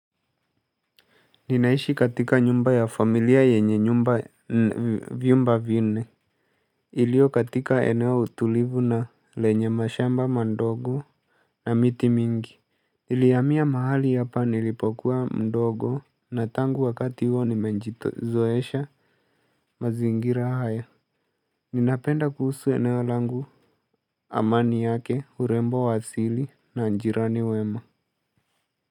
Ninaishi katika nyumba ya familia yenye nyumba viumba vinne ilio katika eneo tulivu na lenye mashamba mandogo na miti mingi nilihamia mahali hapa nilipokuwa mdogo na tangu wakati huo nimenjito zoesha mazingira haya. Ninapenda kuhusu eneo langu. Amani yake urembo wa asili na njirani wema.